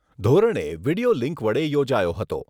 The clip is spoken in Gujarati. ધોરણે વિડીયો લિન્ક વડે યોજાયો હતો